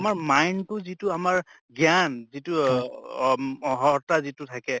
আমাৰ mind তো যিটো আমাৰ জ্ঞান যিটো অহ অহৰ্তা যিটো থাকে